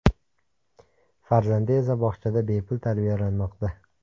Farzandi esa bog‘chada bepul tarbiyalanmoqda.